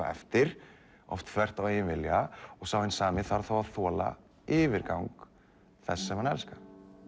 eftir oft þvert á eigin vilja og sá hinn sami þarf þá að þola yfirgang þess sem hann elskar